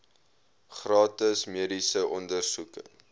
gratis mediese ondersoeke